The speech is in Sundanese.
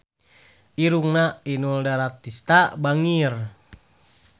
Irungna Inul Daratista bangir